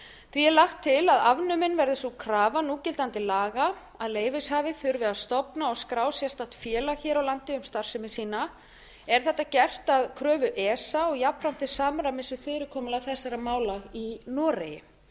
því er lagt til að afnumin verði sú krafa núgildandi laga að leyfishafi þurfi að stofn og skrá sérstakt félag hér á landi um starfsemi sína er þetta gert að kröfu esa og jafnframt tilsamræmis við fyrirkomulag þessara mála í noregi